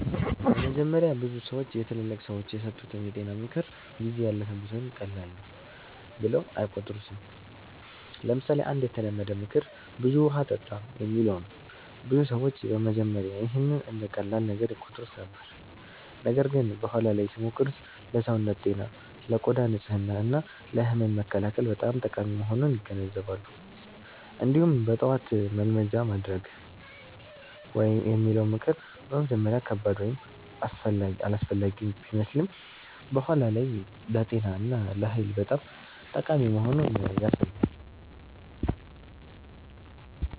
በመጀመሪያ ብዙ ሰዎች የትላልቅ ሰዎች የሰጡትን የጤና ምክር “ጊዜ ያለፈበት” ወይም “ቀላል ነው” ብለው አይቆጥሩትም። ለምሳሌ አንድ የተለመደ ምክር “ብዙ ውሃ ጠጣ” የሚለው ነው። ብዙ ሰዎች በመጀመሪያ ይህን እንደ ቀላል ነገር ይቆጥሩት ነበር፣ ነገር ግን በኋላ ላይ ሲሞክሩት ለሰውነት ጤና፣ ለቆዳ ንጽህና እና ለህመም መከላከል በጣም ጠቃሚ መሆኑን ይገነዘባሉ። እንዲሁም “በጠዋት መልመጃ ማድረግ” የሚለው ምክር በመጀመሪያ ከባድ ወይም አላስፈላጊ ቢመስልም በኋላ ላይ ለጤና እና ለኃይል በጣም ጠቃሚ መሆኑን ያሳያል።